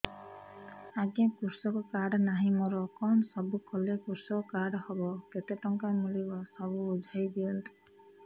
ଆଜ୍ଞା କୃଷକ କାର୍ଡ ନାହିଁ ମୋର କଣ ସବୁ କଲେ କୃଷକ କାର୍ଡ ହବ କେତେ ଟଙ୍କା ମିଳିବ ସବୁ ବୁଝାଇଦିଅନ୍ତୁ